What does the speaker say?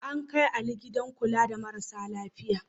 An kai Ali gidan kula da marasa lafiya.